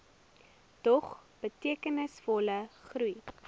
dog betekenisvolle groei